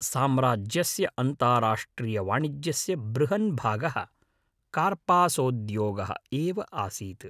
साम्राज्यस्य अन्ताराष्ट्रियवाणिज्यस्य बृहन् भागः, कार्पासोद्योगः एव आसीत्।